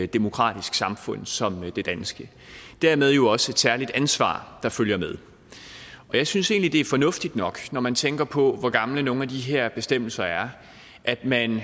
demokratisk samfund som det danske og dermed jo også et særligt ansvar der følger med jeg synes egentlig det er fornuftigt nok når man tænker på hvor gamle nogle af de her bestemmelser er at man